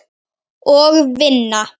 Og vinna.